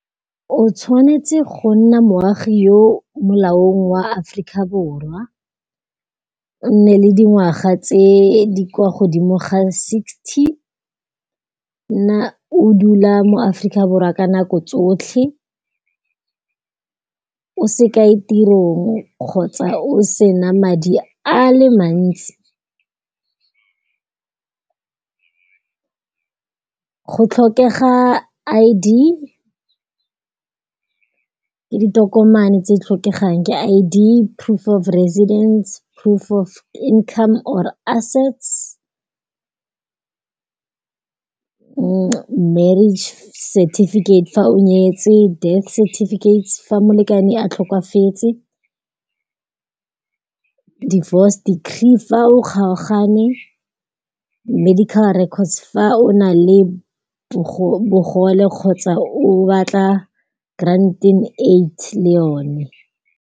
O tshwanetse go nna moagi yo molaong wa Africa Borwa, o nne le dingwaga tse di kwa godimo ga sixty, o dula mo Africa Borwa ka nako tsotlhe. O se kae tirong kgotsa o sena madi a le mantsi, go tlhokega I_D ke ditokomane tse di tlhokegang ke I_D, proof of residence, proof of income or assets, marriage certificate fa o nyetse, death certificate fa molekane a tlhokafetse. Divorce decree fa o kgaogane, medical records fa o na le bogole kgotsa o batla grant in aid le yone.